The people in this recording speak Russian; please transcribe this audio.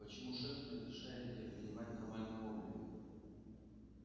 почему шеф не разрешает тебе принимать нормальный облик